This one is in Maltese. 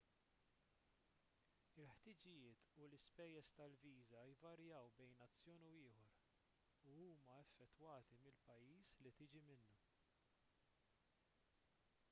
il-ħtiġijiet u l-ispejjeż tal-viża jvarjaw bejn nazzjon u ieħor u huma affettwati mill-pajjiż li tiġi minnu